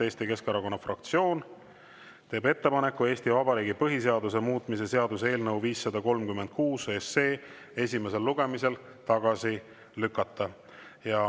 Eesti Keskerakonna fraktsioon teeb ettepaneku Eesti Vabariigi põhiseaduse muutmise seaduse eelnõu 536 esimesel lugemisel tagasi lükata.